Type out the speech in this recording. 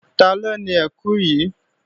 Taló ni ẹkù yìí?